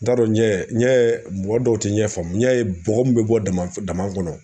N t'a dɔn n ɲɛ mɔgɔ dɔw tɛ ɲɛ faamuya ye bɔgɔ min bɛ bɔ dama dama kɔnɔ